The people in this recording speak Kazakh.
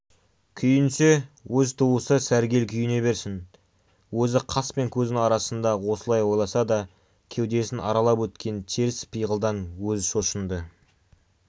күйінсе өз туысы сәргел күйіне берсін өзі қас пен көздің арасында осылай ойласа да кеудесін аралап өткен теріс пиғылдан өзі шошынды